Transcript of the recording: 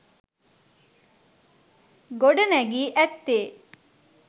ගොඩ නැගී ඇත්තේ